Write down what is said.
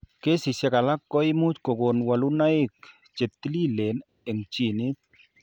Kesishek alak ko imuch kokon walunoik che tililen eng' ginit.